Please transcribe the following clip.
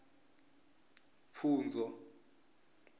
pfunzo